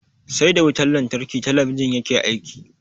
Sai da wutan lantarki talabijin yake aiki.